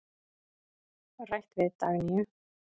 Rætt við Dagnýju.